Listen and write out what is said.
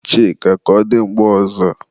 Chika, ka ọ dị mgbe ọzọ